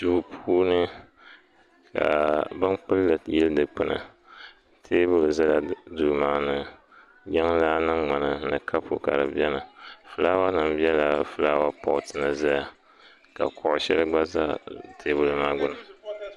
duu puuni ka bin kpulli yili dikpuni teebuli ʒɛla duu maa ni jiŋlaa mini ŋmana ni kapu ka di biɛni fulaawa nim biɛla fulaaawa pot ni ʒɛya ka kuɣu shɛli gba ʒɛ teebuli maa gbuni